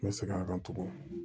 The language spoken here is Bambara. N bɛ segin a kan tuguni